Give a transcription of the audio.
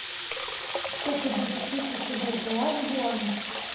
сколько будет тысяча бальбоа в юанях